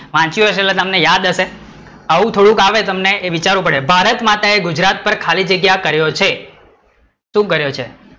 વાચિયું હશે એટલે તમને યાદ હશે, આવું થોડુંક આવે એટલે તમારે વિચારવું પડે, ભારતમાતાએ ગુજરાત પર ખાલી જગ્યા કર્યો છે શું કર્યો છે?